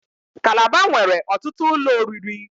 Calabar nwere ọtụtụ ụlọ oriri.